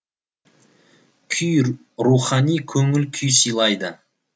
күй рухани көңіл күй сыйлайды